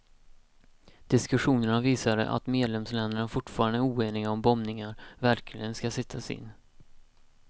Diskussionerna visade att medlemsländerna fortfarande är oeniga om bombningar verkligen ska sättas in.